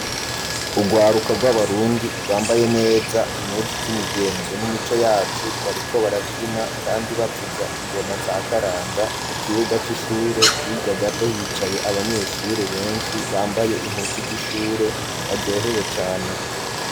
Ugwaruka bw'abarundi ,rwambaye neza impuzu z'imigenzo n'imico yacu ,bariko baravyina kandi bavuza ingoma za karanga, mu kibuga c'ishure hirya gato hicaye abanyeshuri benshi bambaye impuzu z'ishure baryohewe cane.